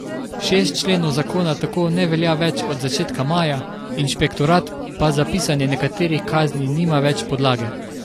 Šest členov zakona tako ne velja več od začetka maja, inšpektorat pa za pisanje nekaterih kazni nima več podlage.